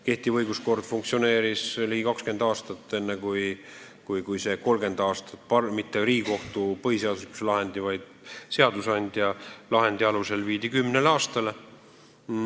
See õiguskord funktsioneeris ligi 20 aastat, enne kui see 30 aastat muudeti mitte Riigikohtu põhiseaduslikkuse järelevalve korras tehtud lahendi, vaid seadusandja lahendi alusel kümneks aastaks.